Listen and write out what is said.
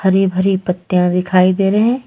हरि भरी पत्तियां दिखाई दे रहे है।